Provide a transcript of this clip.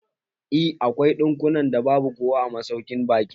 Eh, akwai ɗakunan da babu kowa a masaukin baƙin.